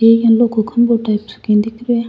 लोको खम्भों टाइप्स दिख रो है।